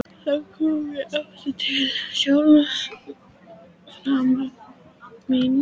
Þá kom ég aftur til sjálfrar mín.